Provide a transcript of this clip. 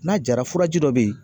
N'a jara furaji dɔ be yen